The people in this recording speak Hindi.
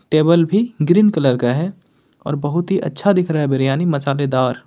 टेबल भी ग्रीन कलर का है और बहुत ही अच्छा दिख रहा है बिरयानी मसालेदार।